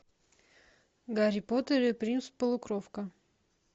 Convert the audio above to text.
гарри поттер и принц полукровка